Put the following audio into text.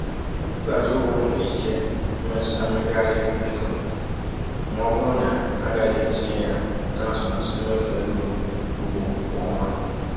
Nkwụghachi ụgwọ nwere ike imetụta mmegharị ego ma ọ bụrụ na a gaghị etinye ya n’atụmatụ mmefu ego ugbo kwa ọnwa.